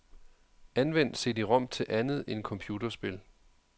Anvend cd-rom til andet end computerspil.